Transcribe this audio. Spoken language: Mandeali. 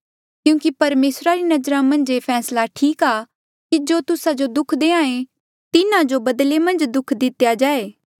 क्यूंकि परमेसरा री नजरा मन्झ ये फैसला ठीक आ कि जो तुस्सा जो दुःख देहां ऐें तिन्हा जो बदले मन्झ दुःख दितेया जाए